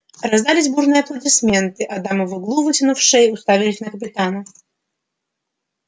раздались бурные аплодисменты а дамы в углу вытянув шеи уставились на капитана